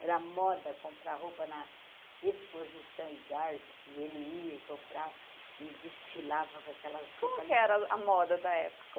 Era a moda comprar roupa na exposição e garpo, e ele ia comprar e desfilava para aquelas roupas... Como que era a moda da época?